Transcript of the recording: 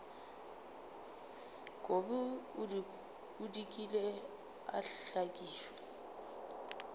kobi o dikile a hlakišwa